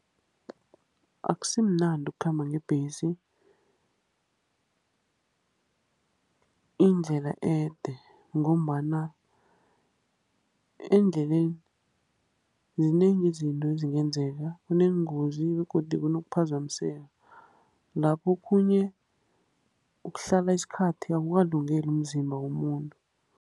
Akusimnandi ukukhamba ngebhesi indlela ede, ngombana endleleni zinengi izinto ezingenzeka. Kuneenengozi begodu kunokuphazamiseka. Laphokhunye ukuhlala isikhathi akukalungeli umzimba womuntu.